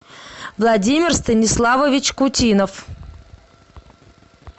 владимир станиславович кутинов